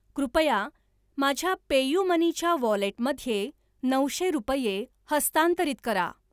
कृपया माझ्या पेयुमनी च्या वॉलेटमध्ये नऊशे रुपये हस्तांतरित करा.